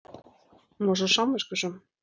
Hún var svo samviskusöm.